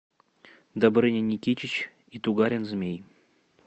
добрыня никитич и тугарин змей